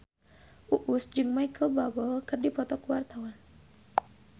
Uus jeung Micheal Bubble keur dipoto ku wartawan